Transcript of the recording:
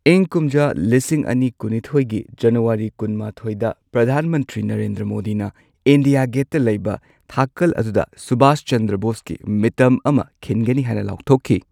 ꯏꯪ ꯀꯨꯝꯖꯥ ꯂꯤꯁꯤꯡ ꯑꯅꯤ ꯀꯨꯟꯅꯤꯊꯣꯏꯒꯤ ꯖꯅꯨꯋꯥꯔꯤ ꯀꯨꯟꯃꯥꯊꯣꯏꯗ, ꯄ꯭ꯔꯙꯥꯟ ꯃꯟꯇ꯭ꯔꯤ ꯅꯔꯦꯟꯗ꯭ꯔ ꯃꯣꯗꯤꯅ ꯏꯟꯗꯤꯌꯥ ꯒꯦꯠꯇ ꯂꯩꯕ ꯊꯀꯜ ꯑꯗꯨꯗ ꯁꯨꯚꯥꯁ ꯆꯟꯗ꯭ꯔ ꯕꯣꯁꯀꯤ ꯃꯤꯇꯝ ꯑꯃ ꯈꯤꯟꯒꯅꯤ ꯍꯥꯏꯅ ꯂꯥꯎꯊꯣꯛꯈꯤ꯫